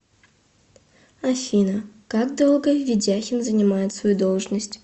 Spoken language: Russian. афина как долго ведяхин занимает свою должность